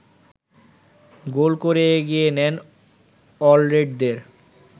গোল করে এগিয়ে নেন অলরেডদের